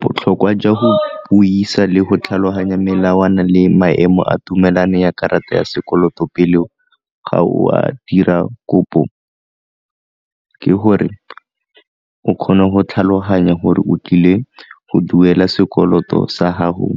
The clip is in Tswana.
Botlhokwa jwa go buisa le go tlhaloganya melawana le maemo a tumelano ya karata ya sekoloto pele ga o a dira kopo, ke gore o kgone go tlhaloganya gore o tlile go duela sekoloto sa gago